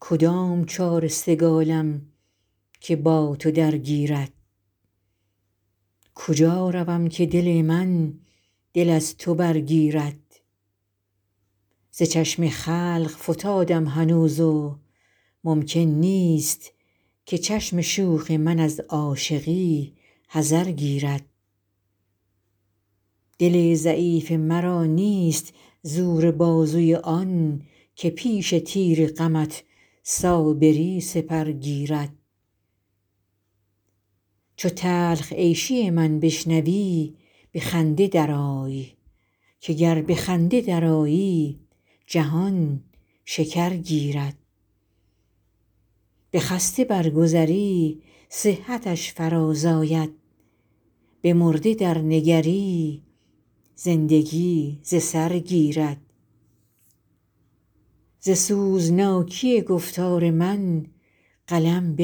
کدام چاره سگالم که با تو درگیرد کجا روم که دل من دل از تو برگیرد ز چشم خلق فتادم هنوز و ممکن نیست که چشم شوخ من از عاشقی حذر گیرد دل ضعیف مرا نیست زور بازوی آن که پیش تیر غمت صابری سپر گیرد چو تلخ عیشی من بشنوی به خنده درآی که گر به خنده درآیی جهان شکر گیرد به خسته برگذری صحتش فرازآید به مرده درنگری زندگی ز سر گیرد ز سوزناکی گفتار من قلم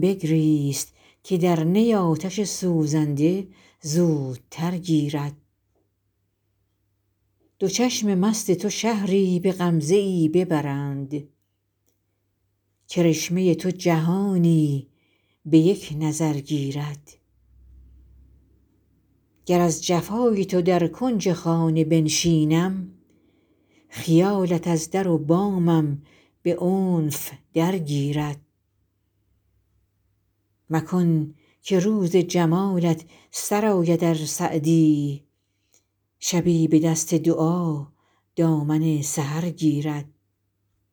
بگریست که در نی آتش سوزنده زودتر گیرد دو چشم مست تو شهری به غمزه ای ببرند کرشمه تو جهانی به یک نظر گیرد گر از جفای تو در کنج خانه بنشینم خیالت از در و بامم به عنف درگیرد مکن که روز جمالت سر آید ار سعدی شبی به دست دعا دامن سحر گیرد